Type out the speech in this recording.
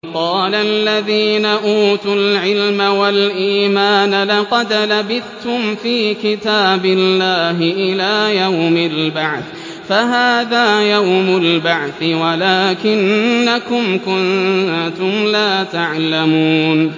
وَقَالَ الَّذِينَ أُوتُوا الْعِلْمَ وَالْإِيمَانَ لَقَدْ لَبِثْتُمْ فِي كِتَابِ اللَّهِ إِلَىٰ يَوْمِ الْبَعْثِ ۖ فَهَٰذَا يَوْمُ الْبَعْثِ وَلَٰكِنَّكُمْ كُنتُمْ لَا تَعْلَمُونَ